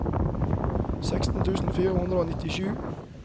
seksten tusen fire hundre og nittisju